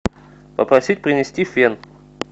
попросить принести фен